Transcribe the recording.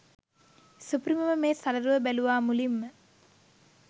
සුපිරිමම මේ සලරුව බැලුවා මුලින්ම.